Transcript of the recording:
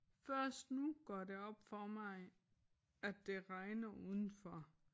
Først nu går det op for mig at det regner udenfor